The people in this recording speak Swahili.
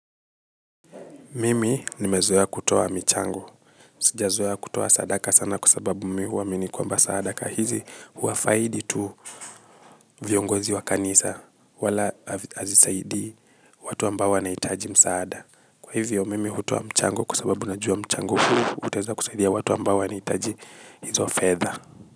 Mimi nimezoa kutoa mchango. Sijazoea kutuwa sadaka sana kwa sababu mimi uwamini kwamba sadaka. Hizi uwafaidi tu viongozi wa kanisa. Wala azisaidi watu ambao wanaitaji msaada. Kwa hivyo mimi hutoa mchango kwa sababu na jua mchangu huu. Utaeza kusaidia watu ambao wanaitaji hizo fedha.